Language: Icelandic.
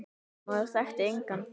Maður þekkti engan.